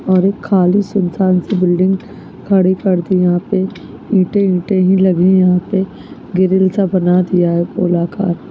-- और एक खाली सूनसान- सी बिल्डिंग खड़ी कर दी यहाँ पे ईटें -विटे लगी है यहाँ पे ग्रिल सा बना दिया है कलाकार--